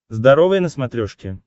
здоровое на смотрешке